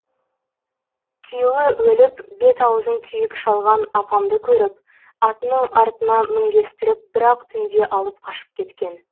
күйеуі өліп бет аузын күйік шалған апамды көріп атының артына мінгестіріп бір ақ түнде алып қашып кеткен